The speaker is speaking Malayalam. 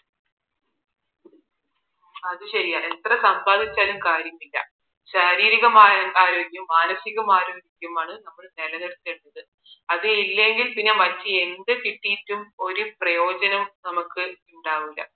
അതു ശരിയാ എത്ര സമ്പാദിച്ചാലും കാര്യമില്ല ശാരീരികമായ ആരോഗ്യവും മാനസികമായ ആരോഗ്യവുമാണ് നമ്മൾ നിലനിർത്തേണ്ടത് അത്തില്ലെങ്കില് മറ്റെന്ത് കിട്ടിയിട്ടും ഒരു പ്രയോജനവും നമുക്ക് ഉണ്ടാവൂല